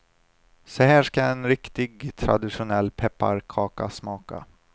Så här ska en riktig traditionell pepparkaka smaka.